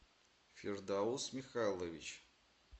фирдаус михайлович